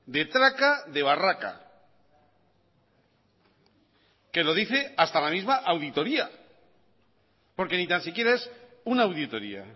de traca de barraca que lo dice hasta la misma auditoría porque ni tan siquiera es una auditoría